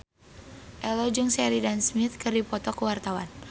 Ello jeung Sheridan Smith keur dipoto ku wartawan